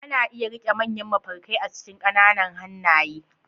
Ana iya riƙe manyan mafarkai a cikin ƙananan hannaye.